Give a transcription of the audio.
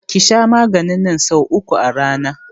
Ki sha maganin nan so uku a rana!